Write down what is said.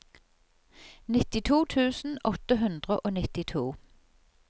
nittito tusen åtte hundre og nittito